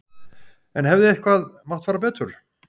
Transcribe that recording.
En hefði eitthvað mátt fara betur?